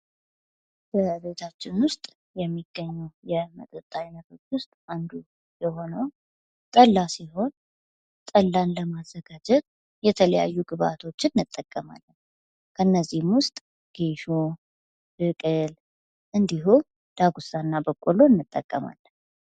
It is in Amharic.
በቤታችን ውስጥ የሚገኙ የመጠጥ አይነቶች ውስጥ አንዱ የሆነው ጠላ ሲሆን ጠላን ለማዘጋጀት የተለያዩ ግብአቶችን መጠቀም አለብን። ከነዚህም ውስጥ ጌሾ ብቅል እንድሁም ዳጉሳና በቆሎ እንጠቀማለን።